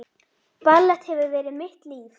Ballett hefur verið mitt líf